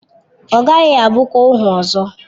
Ọ gaghị abụkwa ohu ọzọ.